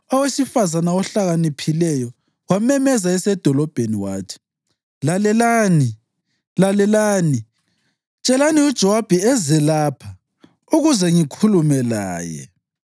owesifazane ohlakaniphileyo wamemeza esedolobheni wathi, “Lalelani! Lalelani! Tshelani uJowabi eze lapha ukuze ngikhulume laye.”